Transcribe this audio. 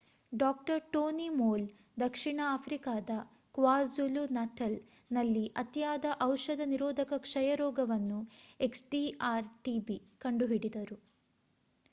ಡಾ. Tony Moll ದಕ್ಷಿಣ ಆಫ್ರಿಕಾದ kwazulu-natal ನಲ್ಲಿ ಅತಿಯಾದ ಔಷಧ ನಿರೋಧಕ ಕ್ಷಯರೋಗವನ್ನು xdr-tb ಕಂಡುಹಿಡಿದರು